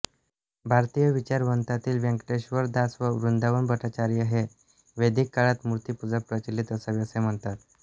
भारतीय विचारवंतांतील वेंकटेश्वर दास व वृंदावन भट्टाचार्य हे वैदिक काळात मूर्तिपूजा प्रचलित असावी असे म्हणतात